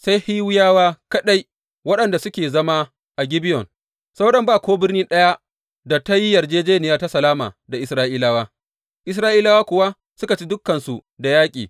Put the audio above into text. Sai Hiwiyawa kaɗai waɗanda suke zama a Gibeyon, sauran ba ko birni ɗaya da ta yi yarjejjeniya ta salama da Isra’ilawa, Isra’ilawa kuwa suka ci dukansu da yaƙi.